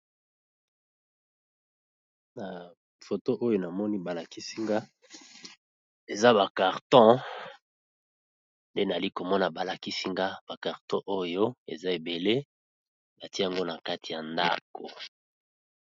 Na foto oyo namoni ba lakisi nga eza ba karton nde nayali komona ba lakisi nga ba karton oyo eza ebele ba tia yango na kati ya ndako.